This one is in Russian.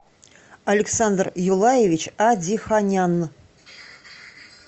александр юлаевич адиханян